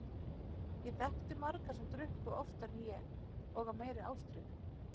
Ég þekkti marga sem drukku oftar en ég og af meiri ástríðu.